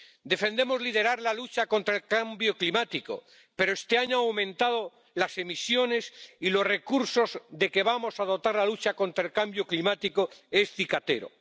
Defendemos liderar la lucha contra el cambio climático, pero este año han aumentado las emisiones, y los recursos de que vamos a dotar la lucha contra el cambio climático son cicateros.